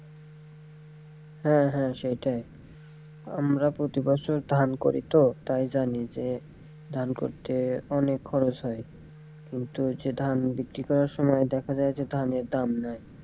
হ্যাঁ হ্যাঁ সেটাই আমরা প্রতি বছর ধান করি তো তাই জানি যে ধান করতে অনেক খরচ হয় কিন্তু যে ধান বিক্রি করার সময় যে দেখা যায় যে ধানের দাম নাই।